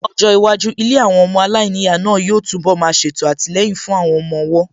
Ní ọjọ́ iwájú, ilé àwọn ọmọ aláìníyàá náà yóò tún bọ̀ má ṣètò àtìlẹyìn fún àwọn ọmọ ọwọ́